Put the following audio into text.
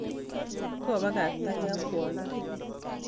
Kobakaktake ak kwondo